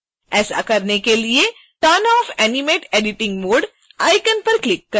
ऐसा करने के लिए turn off animate editing mode icon पर क्लिक करें